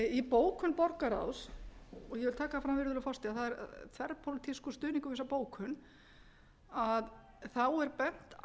í bókun borgarráðs og ég vil taka það fram virðulegur forseti að það er þverpólitískur stuðningur við þessa bókun er